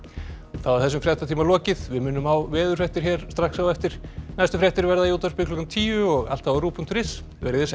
þá er þessum fréttatíma lokið við minnum á veðurfréttir hér strax á eftir næstu fréttir verða í útvarpi klukkan tíu og alltaf á ruv punktur is verið þið sæl